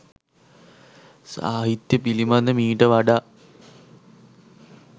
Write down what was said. සාහිත්‍ය පිළිබඳ මීට වඩා